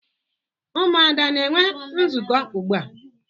Ụmụada ana-enwe nzukọ ugbua?